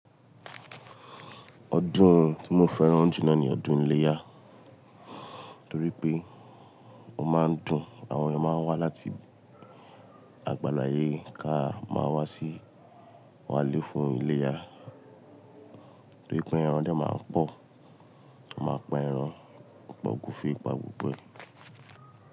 Ọdún tí mo fẹ́ràn jù lọ ni ọdún iléyá torí pé ó máa ń dùn. Àwọn eyan máa ń wá láti àgbàlàyé ká máa wá sí wa lé fún iléyá, torí pé ẹran dẹ máa ń pọ̀. A máa pa ẹran pa ogúnfe pa gbogbo ẹ.